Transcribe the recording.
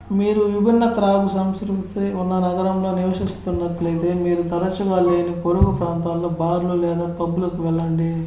మీరు విభిన్న త్రాగుసంస్కృతి ఉన్న నగరంలో నివసిస్తున్నట్లయితే మీరు తరచుగా లేని పొరుగు ప్రాంతాల్లో బార్ లు లేదా పబ్ లకు వెళ్లండి